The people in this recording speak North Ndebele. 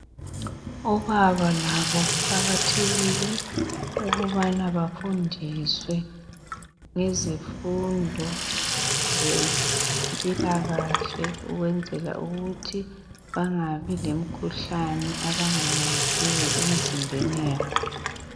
Obaba labo kuqakathekile ukubana bafundiswe ngezifundo zempilakahle ukwenzela ukuthi bangabi lomkhuhlane abangayaziyo emzimbeni wabo.